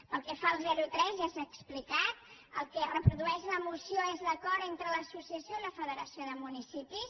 pel que fa al zero tres ja s’ha explicat el que reprodueix la moció és l’acord entre l’associació i la federació de municipis